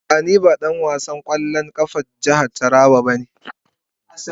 A'a, ni ba dan wasan kwallon kafa na jihar Taraba bane.